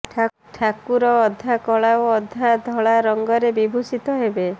ଠାକୁର ଅଧା କଳା ଓ ଅଧା ଧଳା ରଙ୍ଗରେ ବିଭୂଷିତ ହେବେ